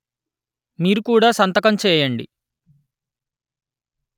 మీరు కూడా సంతకం చేయండి